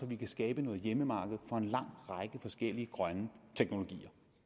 vi kan skabe noget hjemmemarked for en lang række forskellige grønne teknologier